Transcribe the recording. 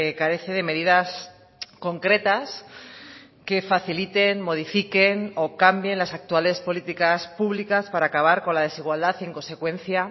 carece de medidas concretas que faciliten modifiquen o cambien las actuales políticas públicas para acabar con la desigualdad y en consecuencia